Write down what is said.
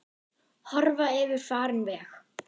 Horfa yfir farinn veg.